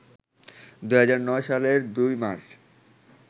২০০৯ সালের ২ মার্চ